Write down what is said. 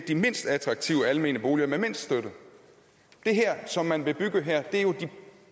de mindst attraktive almene boliger med mindst støtte det som man vil bygge her er jo de